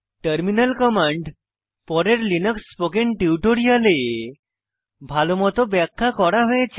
terminal command পরের Linux spoken টিউটোরিয়ালে ভালোমত ব্যাখ্যা করা হয়েছে